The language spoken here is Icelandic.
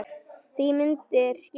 Því myndir skipta máli.